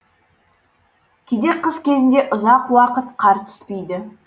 кейде қыс кезінде ұзақ уақыт қар түспейді